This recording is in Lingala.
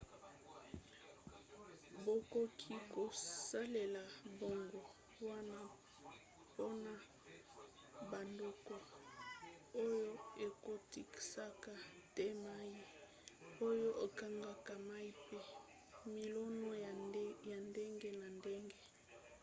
bakoki kosalela mbongo wana mpona bandako oyo ekotisaka te mai oyo ekangaka mai mpe milona ya ndenge na ndenge